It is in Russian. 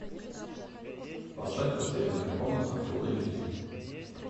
поставь потерянная комната фул эйч ди